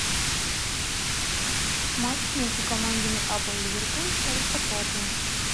матч между командами апл ливерпуль аристократы